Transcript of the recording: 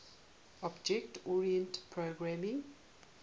object oriented programming